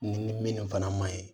Ni minnu fana man ɲi